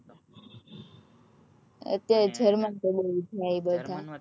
અત્યાર